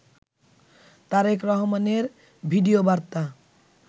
তারেক রহমানের ভিডিও বার্তা